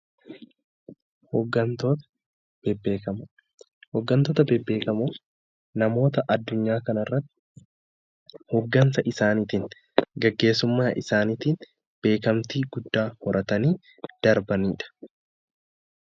Hooggantoonni beekamoon namoota addunyaa kanarratti hooggansa isaaniitiin gaggeessummaa isaaniitiin beekamtii guddaa horatanii darbanidha .